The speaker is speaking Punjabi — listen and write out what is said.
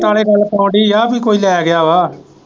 ਨਾਲੇ ਗੱਲ ਕਿ ਕੋਈ ਲੈ ਗਿਆ ਵਾ।